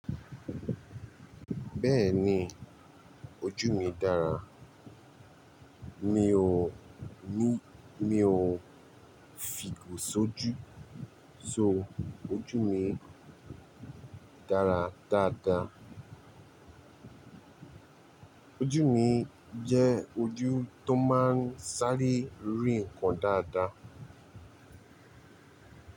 Bẹ́ẹ̀ni ojú mi dára, mi ò ní mi ò f' igo sójú so ojú mi dára dáadáa. Ojú mi jẹ́ ojú tó máa ń sáré rìn kan dáadáa.